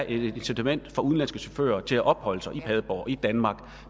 et incitament for udenlandske chauffører til at opholde sig i padborg i danmark